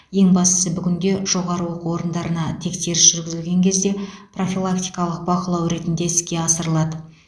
ең бастысы бүгінде жоғары оқу орындарына тексеріс жүргізілген кезде профилактикалық бақылау ретінде іске асырылады